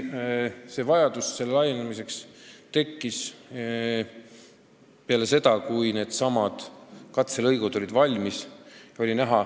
See vajadus ilmnes eriti selgelt peale seda, kui katselõigud olid valmis saanud.